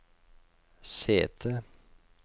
sete